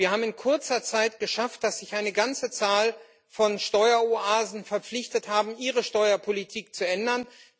Wir haben es in kurzer Zeit geschafft, dass sich eine ganze Zahl von Steueroasen verpflichtet hat, ihre Steuerpolitik zu ändern.